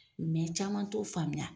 caman t'o faamuya.